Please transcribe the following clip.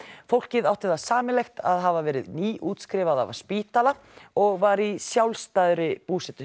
fólkið átti það sameiginlegt að hafa verið nýútskrifað af spítala og var í sjálfstæðri búsetu